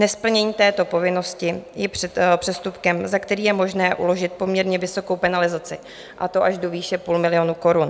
Nesplnění této povinnosti je přestupkem, za který je možné uložit poměrně vysokou penalizaci, a to až do výše půl milionu korun.